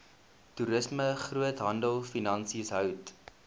toerisme groothandelfinansies hout